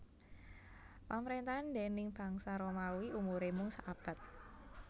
Pamrentahan déning bangsa Romawi umure mung saabad